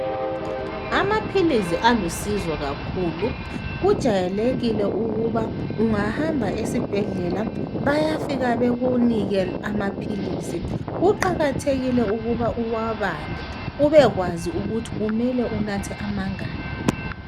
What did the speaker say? Amaphilisi alusizo kakhulu. Kujayelekile ukuba ungahamba esibhedlela bayafika bekunike amaphilisi. Kuqakathekile ukuba uwabale ubekwazi ukuthi kumele unathe amangaki.